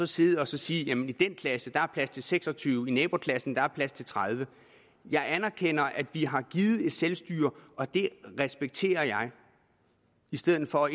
sidde og sige i den klasse er der plads til seks og tyve i naboklassen er der plads til tredivete jeg anerkender at vi har givet et selvstyre og det respekterer jeg i stedet for at